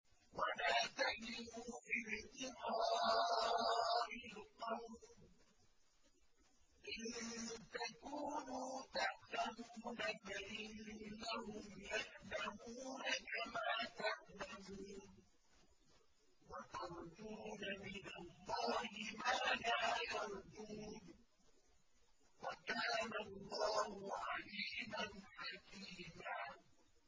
وَلَا تَهِنُوا فِي ابْتِغَاءِ الْقَوْمِ ۖ إِن تَكُونُوا تَأْلَمُونَ فَإِنَّهُمْ يَأْلَمُونَ كَمَا تَأْلَمُونَ ۖ وَتَرْجُونَ مِنَ اللَّهِ مَا لَا يَرْجُونَ ۗ وَكَانَ اللَّهُ عَلِيمًا حَكِيمًا